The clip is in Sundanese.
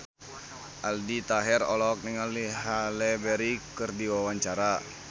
Aldi Taher olohok ningali Halle Berry keur diwawancara